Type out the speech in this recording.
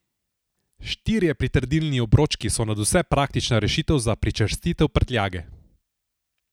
Štirje pritrdilni obročki so nadvse praktična rešitev za pričvrstitev prtljage.